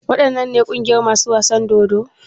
Waɗannan ne ƙungiyar masu wasan dodo?